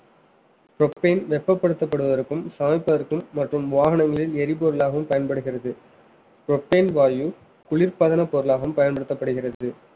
propane வெப்பப்படுத்தப்படுவதற்கும் சமைப்பதற்கும் மற்றும் வாகனங்களில் எரிபொருளாகவும் பயன்படுகிறது propane வாயு குளிர்பதன பொருளாகவும் பயன்படுத்தப்படுகிறது